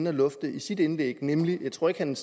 at lufte i sit indlæg jeg tror ikke han